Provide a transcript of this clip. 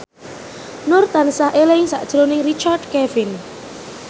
Nur tansah eling sakjroning Richard Kevin